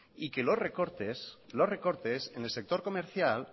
y que los recortes los recortes en el sector comercial